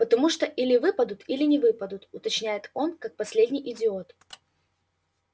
потому что или выпадут или не выпадут уточняет он как последний идиот